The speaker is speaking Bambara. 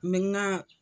nka